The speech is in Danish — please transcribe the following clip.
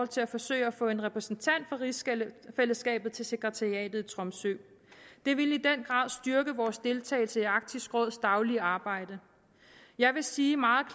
til at forsøge at få en repræsentant for rigsfællesskabet til sekretariatet i tromsø det vil i den grad styrke vores deltagelse i arktisk råds daglige arbejde jeg vil sige meget